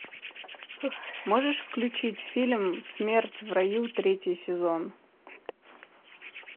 можешь включить фильм смерть в раю третий сезон